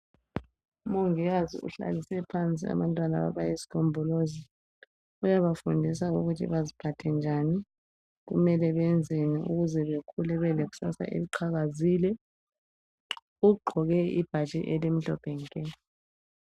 umongikazi uhlalise phansi abantwana abayisigombolozi uyabafundisa ukuthi kumele beziphathe njani ukuze bebelekusasa eliqakazile ugqoke ibhatshi elimhlophe nke